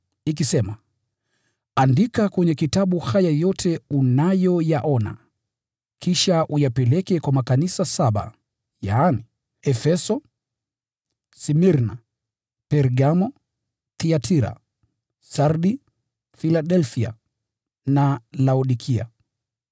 ikisema, “Andika kwenye kitabu haya yote unayoyaona, kisha uyapeleke kwa makanisa saba, yaani: Efeso, Smirna, Pergamo, Thiatira, Sardi, Filadelfia na Laodikia.”